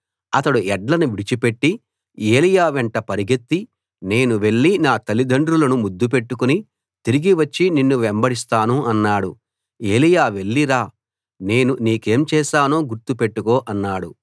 అతడు ఎడ్లను విడిచిపెట్టి ఏలీయా వెంట పరిగెత్తి నేను వెళ్లి నా తలిదండ్రులను ముద్దు పెట్టుకుని తిరిగి వచ్చి నిన్ను వెంబడిస్తాను అన్నాడు ఏలీయా వెళ్లి రా నేను నీకేం చేశానో గుర్తు పెట్టుకో అన్నాడు